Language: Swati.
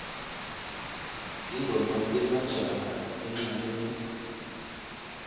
tingoma temajaha encnaleni